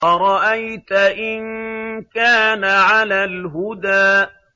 أَرَأَيْتَ إِن كَانَ عَلَى الْهُدَىٰ